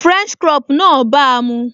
French crop náà bàa mu